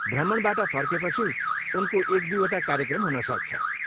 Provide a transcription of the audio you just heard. भ्रमणबाट फर्केपछि उनको एक दुईवटा कार्यक्रम हुनसक्छ।